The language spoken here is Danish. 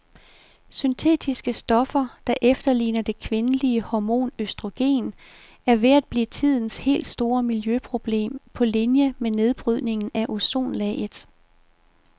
Syntetiske stoffer, der efterligner det kvindelige hormon østrogen, er ved at blive tidens helt store miljøproblem på linie med nedbrydningen af ozonlaget.